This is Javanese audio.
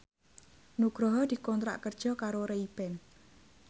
Nugroho dikontrak kerja karo Ray Ban